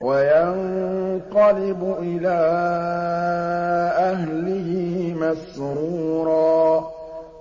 وَيَنقَلِبُ إِلَىٰ أَهْلِهِ مَسْرُورًا